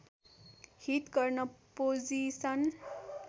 hit गर्न position